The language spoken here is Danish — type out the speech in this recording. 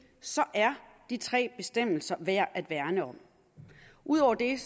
er de tre bestemmelser værd at værne om ud over det